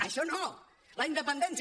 això no la independència